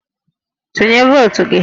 Tụnye votu gị!